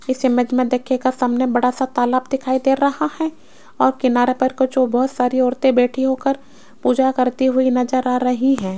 इस इमेज में देखिएगा सामने बड़ा सा तालाब दिखाई दे रहा है और किनारे पर को जो बहोत सारी औरतें बैठी होकर पूजा करती हुई नजर आ रही हैं।